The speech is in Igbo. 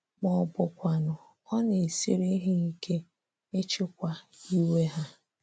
Ma ọ bụkwanụ, ọ na-esiri ha ike ịchịkwa iwe ha.